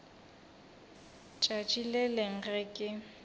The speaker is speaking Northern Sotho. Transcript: tšatši le lengwe ge ke